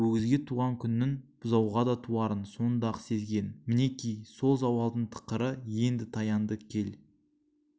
өгізге туған күннің бұзауға да туарын сонда-ақ сезген мінеки сол зауалдың тықыры енді таянды кел